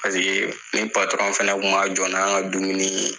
Paseke ni patɔrɔn fana tun ma jɔ ni anw ka dumuni ye